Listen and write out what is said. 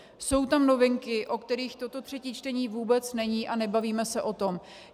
Jsou tam novinky, o kterých toto třetí čtení vůbec není, a nebavíme se o tom.